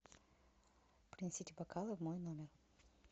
принесите бокалы в мой номер